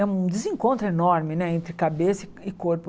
É um desencontro enorme né entre cabeça e corpo.